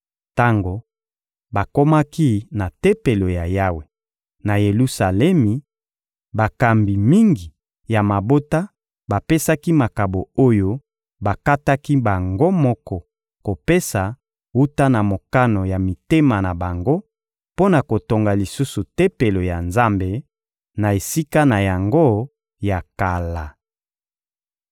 Tango bakomaki na Tempelo ya Yawe, na Yelusalemi, bakambi mingi ya mabota bapesaki makabo oyo bakataki bango moko kopesa wuta na mokano ya mitema na bango mpo na kotonga lisusu Tempelo ya Nzambe, na esika na yango ya kala.